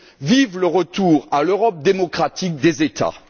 Vive le retour à l'Europe démocratique des États!